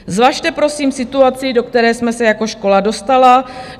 Zvažte prosím situaci, do které jsme se jako škola dostali.